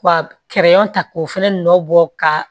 Ka ta k'o fɛnɛ nɔ bɔ ka